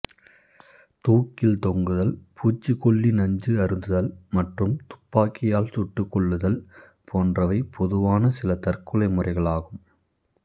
தூக்கில் தொங்குதல் பூச்சிக்கொல்லி நஞ்சு அருந்துதல் மற்றும் துப்பாக்கியால் சுட்டுக் கொள்ளுதல் போன்றவை பொதுவான சில தற்கொலை முறைகளாகும்